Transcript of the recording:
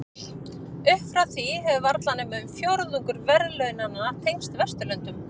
Upp frá því hefur varla nema um fjórðungur verðlaunanna tengst Vesturlöndum.